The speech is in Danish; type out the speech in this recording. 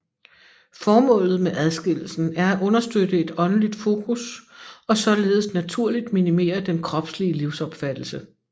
Formålet med adskillelsen er at understøtte et åndeligt fokus og således naturligt minimere den kropslige livsopfattelse